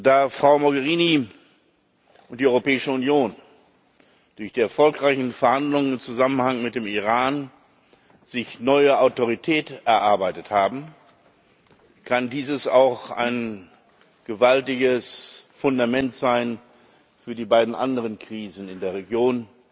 Da Frau Mogherini und die Europäische Union durch die erfolgreichen Verhandlungen im Zusammenhang mit dem Iran sich neue Autorität erarbeitet haben, kann dieses auch ein gewaltiges Fundament sein für die beiden anderen Krisen in der Region,